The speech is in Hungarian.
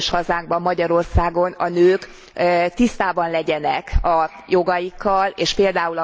közös hazánkban, Magyarországon a nők tisztában legyenek a jogaikkal, és pl.